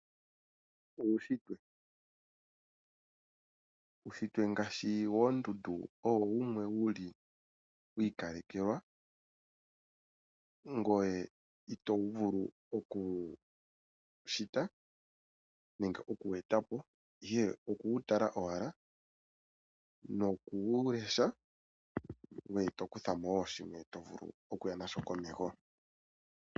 Uunshitwe Uunshitwe ngaashi woondundu owo wumwe wi ikalekelwa, ngoye ito vulu oku wu shita nenge oku wu eta po, ihe oku wu tala owala noku wu lesha ngoye to kutha mo wo shimwe to vulu okuya na sho komeho.